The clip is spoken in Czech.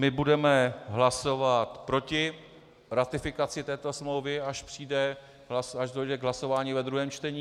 My budeme hlasovat proti ratifikaci této smlouvy, až dojde k hlasování ve druhém čtení.